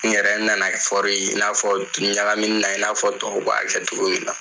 N yɛrɛ nana in n'a fɔ ɲagaminina i n'a fɔ tɔ b'a kɛ togo min na.